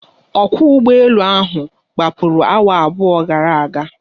Ọkwọ ụgbọ elu ahụ gbapụrụ awa abụọ gara aga.